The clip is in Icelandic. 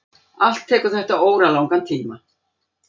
Allt tekur þetta óralangan tíma.